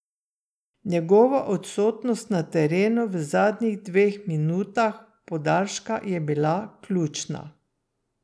Njegova odsotnost na terenu v zadnjih dveh minutah podaljška je bila ključna.